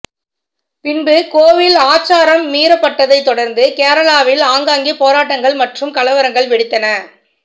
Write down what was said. பின்பு கோவில் ஆச்சாரம் மீறப்பட்டதை தொடர்ந்து கேரளாவில் ஆங்காங்கே போராட்டங்கள் மற்றும் கலவரங்கள் வெடித்தன